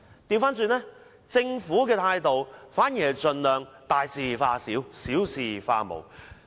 相反，政府的態度是盡量大事化小，小事化無。